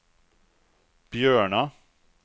Björna